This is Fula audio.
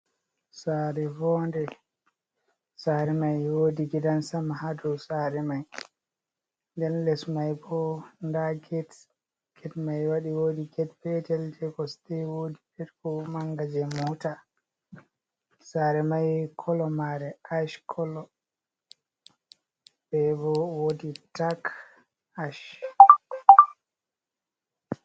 Sare voo'nde, sare mai wodi gidan sama ha dau sare mai. Nden less mai bo nda gate, gate mai wadi wodi gate petel je kosde be gate mange je mota. Sare mai color mare ash color, be bo wodi dark ash.